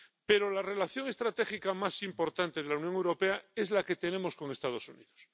Pero la relación estratégica más importante de la Unión Europea es la que tenemos con Estados Unidos.